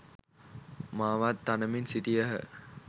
මාවත් තනමින් සිටියහ.